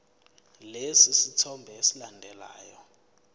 lesi sithombe esilandelayo